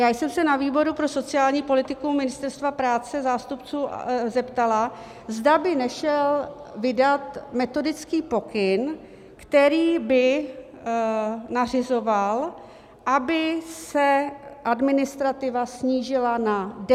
Já jsem se na výboru pro sociální politiku Ministerstva práce zástupců zeptala, zda by nešel vydat metodický pokyn, který by nařizoval, aby se administrativa snížila na 10 dní.